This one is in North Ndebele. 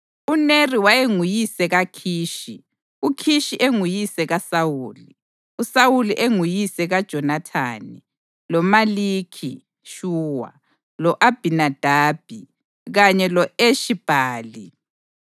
UNeri wayenguyise kaKhishi, uKhishi enguyise kaSawuli, uSawuli enguyise kaJonathani, loMalikhi-Shuwa, lo-Abhinadabi kanye lo-Eshi-Bhali.